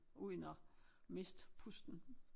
Uden at miste pusten